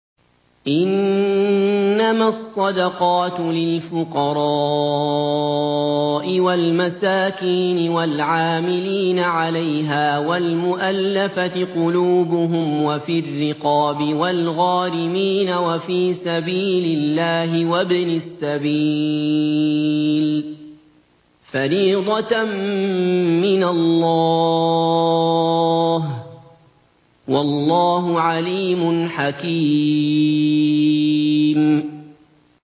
۞ إِنَّمَا الصَّدَقَاتُ لِلْفُقَرَاءِ وَالْمَسَاكِينِ وَالْعَامِلِينَ عَلَيْهَا وَالْمُؤَلَّفَةِ قُلُوبُهُمْ وَفِي الرِّقَابِ وَالْغَارِمِينَ وَفِي سَبِيلِ اللَّهِ وَابْنِ السَّبِيلِ ۖ فَرِيضَةً مِّنَ اللَّهِ ۗ وَاللَّهُ عَلِيمٌ حَكِيمٌ